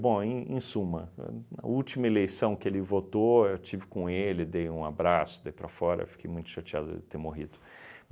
Bom, em em suma, a a última eleição que ele votou, eu estive com ele, dei um abraço, daí para fora, fiquei muito chateado dele ter morrido.